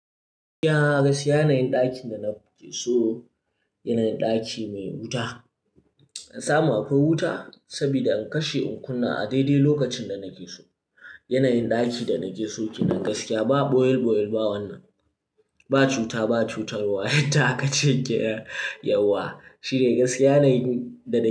Gaskiya gaskiya yanayin ɗakin da na ke so, yanayin ɗaki mai wuta. An samu akwai wuta saboda in kashe in kunna a daidai lokacin da nake so. Yanayin ɗakin da nake so kenan gaskiya ba ɓoye-ɓoye ba wannan. Ba cuta, ba cutar wa yadda akace kenan yauwa. Shi dai gaskiya yanayin da nake so.